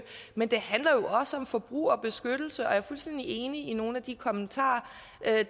men det handler også om forbrugerbeskyttelse og jeg er fuldstændig enig i nogle af de kommentarer